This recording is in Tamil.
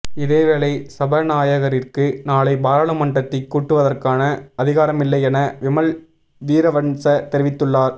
இதேவேளை சபாநாயகரிற்கு நாளை பாராளுமன்றத்தை கூட்டுவதற்கான அதிகாரமில்லை என விமல்வீரவன்ச தெரிவித்துள்ளார்